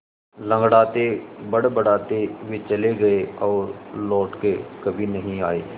लँगड़ाते बड़बड़ाते वे चले गए और लौट कर कभी नहीं आए